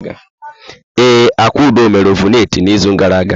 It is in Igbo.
Ee, Akudo mere ọvụletị n'izu gara aga.